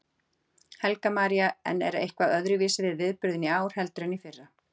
Helga María: En er eitthvað öðruvísi við viðburðinn í ár heldur en í fyrra?